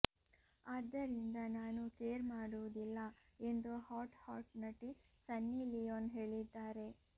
ಆದ್ದರಿಂದ ನಾನು ಕೇರ್ ಮಾಡುವುದಿಲ್ಲ ಎಂದು ಹಾಟ್ ಹಾಟ್ ನಟಿ ಸನ್ನಿ ಲಿಯೋನ್ ಹೇಳಿದ್ದಾರೆ